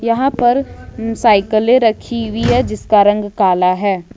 यहां पर साइकिले रखी हुई है जिसका रंग काला है।